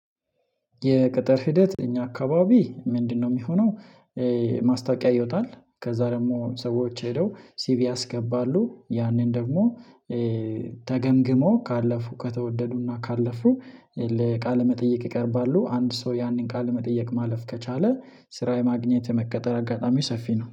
የቅጥር ሂደት እኛ አካባቢ ምንድነው የሚሆነው? ማስታወቂያ ይወጣል ከዛ ደግሞ ሰዎች ሄደው ሲቪ ያስገባሉ ያንን ደግሞ ተገምግሞ ካለፉ ከተወደዱና ካለፉ ለቃለ መጠየቅ ይቀርባሉ። አንድ ሰው ያንን ቃለ መጠየቅ ማለፍ ከቻለ ስራ የማግኘት የመቀጠር አጋጣሚ ሰፊ ነው